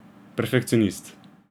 Perfekcionist.